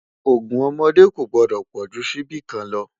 ògún ọmọdé kò gbòdó pojú síbí kàn ló